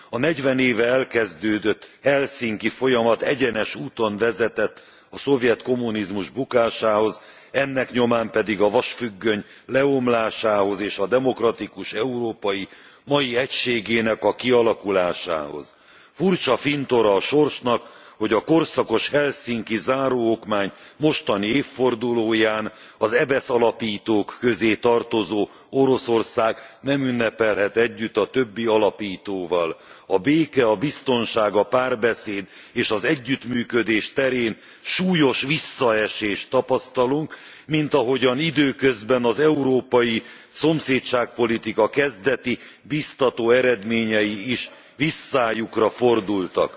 A 40 éve kezdődött helsinki folyamat egyenes úton vezetett a szovjet kommunizmus bukásához, ennek nyomán pedig a vasfüggöny lebontásához és a demokratikus Európa mai egységének a kialakulásához. Furcsa fintora a sorsnak, hogy a korszakos helsinki záróokmány mostani évfordulóján az EBESZ alapítók közé tartozó Oroszország nem ünnepelhet együtt a többi alapítóval. A béke, a biztonság, a párbeszéd és az együttműködés terén súlyos visszaesést tapasztalunk, mint ahogyan időközben az európai szomszédság politika kezdeti, biztató eredményei is visszájukra fordultak.